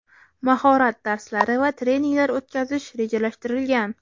mahorat darslari va treninglar o‘tkazish rejalashtirilgan.